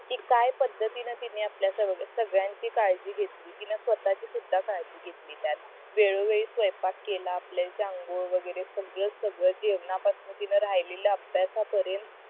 कि काय पद्धतीने तिने आपल्या सगळ्यांची काळजी घेतली तिने स्वतःची सुद्धा काळजी घेतली त्यात वेळो वेळी स्वयंपाक केला आपल्या अंघोळ वगैरे सगळं सगळं जेवण पासन तिने राहिलेल्या अभ्यासा पर्यंत